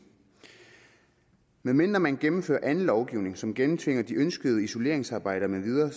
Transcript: medmindre man gennemfører anden lovgivning som gennemtvinger de ønskede isoleringsarbejder